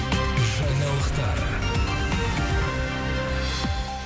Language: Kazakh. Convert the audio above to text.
жаңалықтар